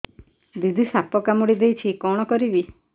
ଦିଦି ସାପ କାମୁଡି ଦେଇଛି କଣ କରିବି